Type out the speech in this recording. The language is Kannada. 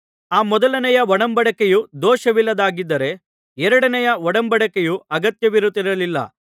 ಆ ಮೊದಲನೆಯ ಒಡಂಬಡಿಕೆಯು ದೋಷವಿಲ್ಲದ್ದಾಗಿದ್ದರೆ ಎರಡನೆಯ ಒಡಂಬಡಿಕೆಯ ಅಗತ್ಯವಿರುತ್ತಿರಲಿಲ್ಲ